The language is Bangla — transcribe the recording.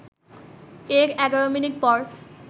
এর ১১ মিনিট পর